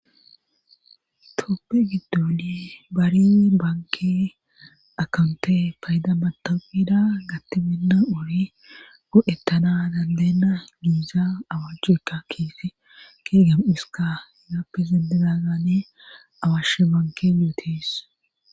Tooppe giddoli bariri banke akonte paydamatopida gattibenna ori gu'ettana dandeenna giiza awachuekka kiefi ke gem'iska yaappi zendedazane awashe banke yuotis.